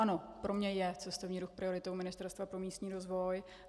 Ano, pro mě je cestovní ruch prioritou Ministerstva pro místní rozvoj.